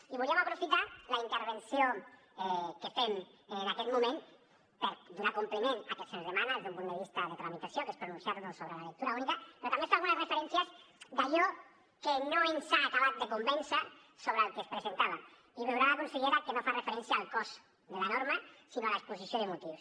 i volíem aprofitar la intervenció que fem en aquest moment per donar compliment al que se’ns demana des d’un punt de vista de tramitació que és pronunciar nos sobre la lectura única però també fer algunes referències a allò que no ens ha acabat de convèncer sobre el que es presentava i veurà la consellera que no fa referència al cos de la norma sinó a l’exposició de motius